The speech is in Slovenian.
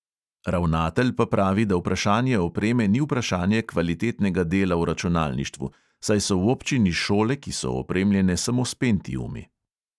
Ravnatelj pa pravi, da vprašanje opreme ni vprašanje kvalitetnega dela v računalništvu, saj so v občini šole, ki so opremljene samo s pentiumi.